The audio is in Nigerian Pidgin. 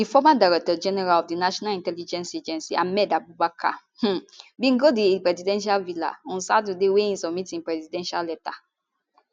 di former director general of di national intelligence agency ahmed abubakar um bin go di presidential villa on saturday wia e submit im resignation letter